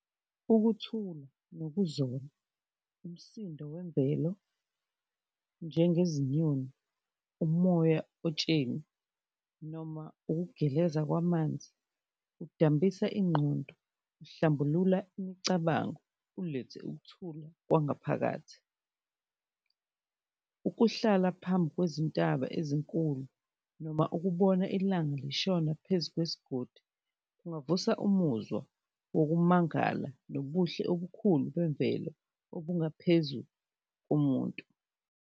Ukuthula nokuzola, umsindo wemvelo njengezinyoni, umoya otsheni noma ukugeleza kwamanzi, kudambisa ingqondo, kuhlambulula imicabango, ulethe ukuthula kwangaphakathi. Ukuhlala phambi kwezintaba ezinkulu noma ukubona ilanga lishona phezu kwezigodi, kungavusa umuzwa wokumangala nobuhle obukhulu bemvelo obungaphezu komuntu.